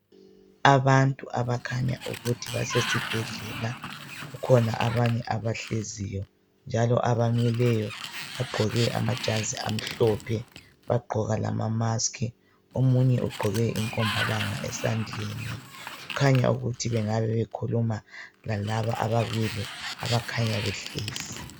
Abantu abakhanya ukuthi basesibhedlela, kukhona abanye abahleziyo njalo abamileyo bagqoke amajazi amhlophe bagqoka lamamaski. Omunye ugqoke inkombalanga esandleni, kukhanya ukuthi bekhuluma lalaba ababili abakhanya behlezi.